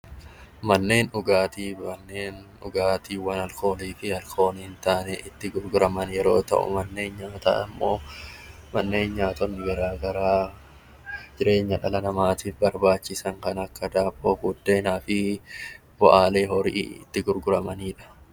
Manneen dhugaatii manneen dhugaatii alkoolii ta'anii fi alkoolii hin taane yeroo ta'u, manneen nyaataa Manneen nyaataa garaagaraa jireenya dhala namaatiif barbaachisan kan akka daabboo, buddeenaa fi bu'aalee loonii itti gurguramanidha